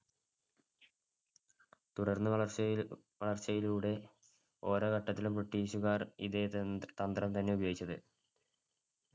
തുടർന്ന് വളർച്ചയി~വളർച്ചയിലൂടെ ഓരോ ഘട്ടത്തിലും ബ്രിട്ടീഷുകാർ ഇതേ തന്ത്രം തന്നെ ഉപയോഗിച്ചത്